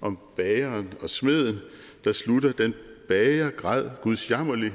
om bageren og smeden der slutter den bager græd gudsjammerligt